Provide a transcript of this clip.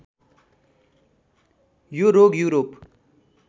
यो रोग युरोप